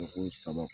saba